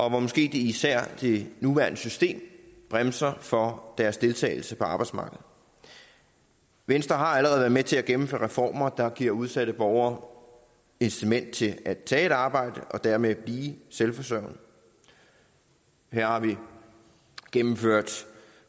og hvor måske især det nuværende system bremser for deres deltagelse på arbejdsmarkedet venstre har allerede været med til at gennemføre reformer der giver udsatte borgere incitament til at tage et arbejde og dermed blive selvforsørgende her har vi gennemført